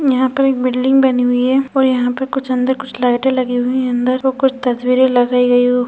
यहाँ पर एक बिल्डिंग बनी हुई है यह पर अंदर कुछ लाइटें लगी हुई है अंदर कुछ तस्वीरें लगाई--